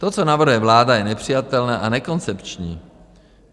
To, co navrhuje vláda, je nepřijatelné a nekoncepční.